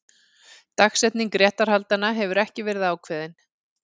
Dagsetning réttarhaldanna hefur ekki verið ákveðin